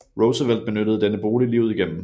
Roosevelt benyttede denne bolig livet igennem